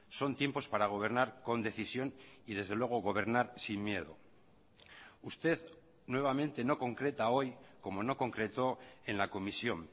son tiempos para gobernar con decisión y desde luego gobernar sin miedo usted nuevamente no concreta hoy como no concretó en la comisión